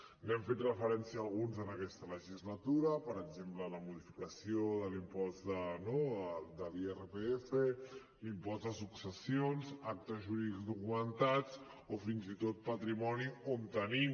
n’hem fet referència a alguns en aquesta legislatura per exemple la modificació de l’impost no de l’irpf l’impost de successions actes jurídics documentats o fins i tot patrimoni on tenim